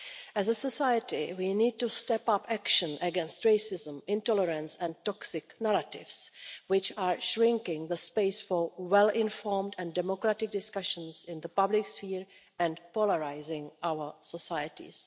As a society, we need to step up action against racism, intolerance and the toxic narratives which are shrinking the space for well informed and democratic discussion in the public sphere and are polarising our societies.